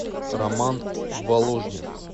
роман воложнев